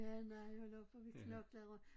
Ja nej hold op hvor vi knoklede